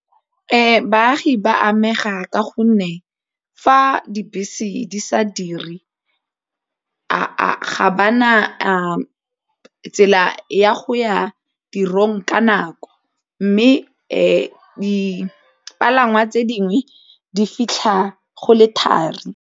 Baagi ba amega ka gonne fa dibese di sa dire ga ba na tsela ya go ya tirong ka nako mme dipalangwa tse dingwe di fitlha go le thari.